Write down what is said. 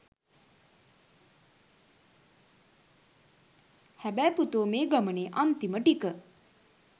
හැබැයි පුතෝ මේ ගමනේ අන්තිම ටික